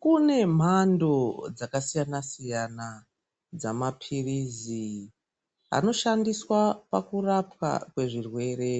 Kune mhando dzakasiyana siyana dzemapiritsi anoshandiswa pakurapqa kwezvirwere